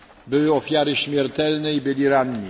Były ofiary śmiertelne i byli ranni.